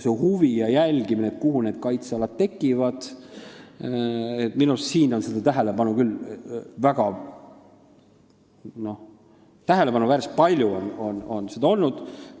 Seda huvi ja jälgimist, kuhu need kaitsealad tekivad, on minu arust küll tähelepanuväärselt palju olnud.